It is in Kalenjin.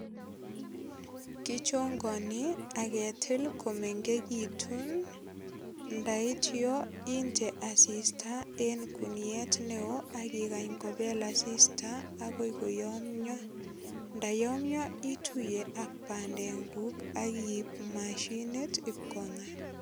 Kichongani ak ketil komengegitun ndaityo inde asista en kuniet neo ak igany kopel asista agoi koyomyo. Ndayomyo ituye ak bandekuk ak iip mashinit ipkonga.